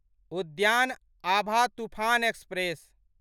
उद्यान आभा तूफान एक्सप्रेस